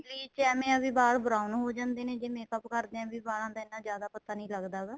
bleach ਐਵੇ ਹੈ ਕੀ ਵਾਲ brown ਹੋ ਜਾਂਦੇ ਨੇ ਜੇ makeup ਕਰਦੇ ਹਾਂ ਵਾਲਾਂ ਦਾ ਜਿਆਦਾ ਪਤਾ ਨਹੀਂ ਲੱਗਦਾ ਹੈਗਾ